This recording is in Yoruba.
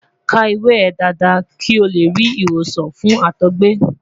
ka iwe e dada ki o le ri iwosan fun àtọgbẹ